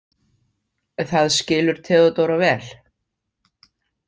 Það skilur Theodóra vel.